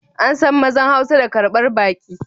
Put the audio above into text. An san mazan hausa da karbar baki